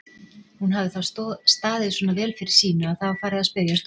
Hún hafði þá staðið svona vel fyrir sínu að það var farið að spyrjast út.